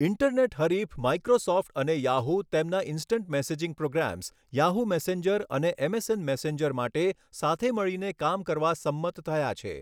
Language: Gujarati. ઈન્ટરનેટ હરીફ માઈક્રોસોફ્ટ અને યાહૂ તેમના instant messaging programs, Yahoo messenger અને એમએસએન મેસેન્જર માટે સાથે મળીને કામ કરવા સંમત થયા છે.